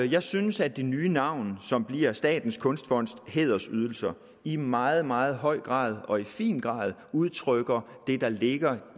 jeg synes at det nye navn som bliver statens kunstfonds hædersydelser i meget meget høj grad og i fin grad udtrykker det der ligger